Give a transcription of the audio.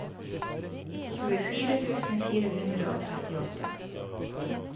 tjuefire tusen fire hundre og trettiåtte